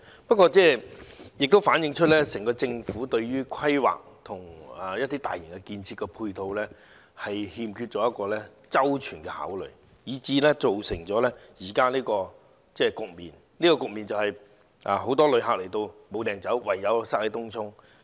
不過，這也反映出整個政府對於規劃和大型基建配套欠缺周全的考慮，以致造成現時的局面。這個局面便是很多旅客來港後沒地方可去，唯有擠在東涌。